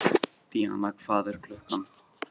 Díanna, hvað er klukkan?